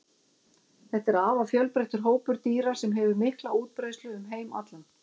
þetta er afar fjölbreyttur hópur dýra sem hefur mikla útbreiðslu um heim allan